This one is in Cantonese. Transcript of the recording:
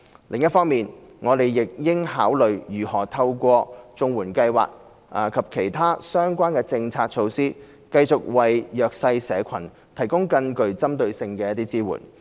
另一方面，我們亦應考慮如何透過綜援計劃及其他相關的政策措施，繼續為弱勢社群提供更具針對性的支援。